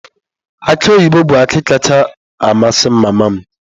Aki oyibo bụ akị kacha amasị mama m.